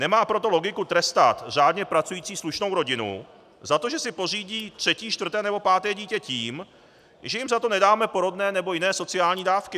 Nemá proto logiku trestat řádně pracující slušnou rodinu za to, že si pořídí třetí, čtvrté nebo páté dítě, tím, že jim za to nedáme porodné nebo jiné sociální dávky.